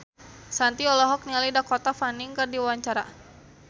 Shanti olohok ningali Dakota Fanning keur diwawancara